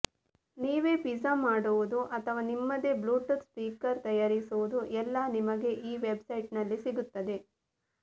ನೀವೇ ಫಿಜ್ಜಾ ಮಾಡುವುದು ಅಥವಾ ನಿಮ್ಮದೇ ಬ್ಲೂಟೂಥ್ ಸ್ಪೀಕರ್ ತಯಾರಿಸುವುದು ಎಲ್ಲಾ ನಿಮಗೆ ಈ ವೆಬ್ಸೈಟ್ನಲ್ಲಿ ಸಿಗುತ್ತದೆ